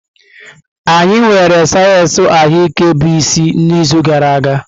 Anyị nwere sayensị ahụike bụ isi n'izu gara aga.